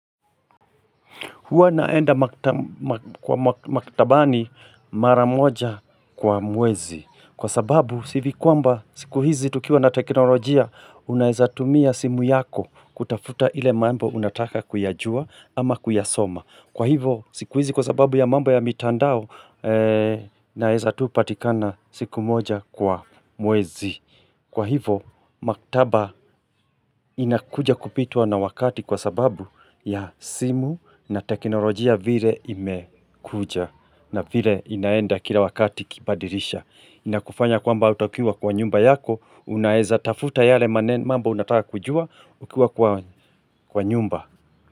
Huwa naenda kwa maktabani maramoja kwa mwezi. Kwa sababu sivikuamba siku hizi tukiwa na teknolojia unaezatumia simu yako kutafuta ile mambo unataka kuyajua ama kuyasoma. Kwa hivo siku hizi kwa sababu ya mambo ya mitandao naezatupatikana siku moja kwa mwezi. Kwa hivo, maktaba inakuja kupitwa na wakati kwa sababu ya simu na teknolojia vile imekuja na vile inaenda kila wakati ikibadirisha. Inakufanya kwamba hutakiwa kwa nyumba yako, unaeza tafuta yale maneno mambo unataka kujua ukiwa kwa nyumba.